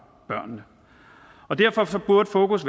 børnene derfor burde fokus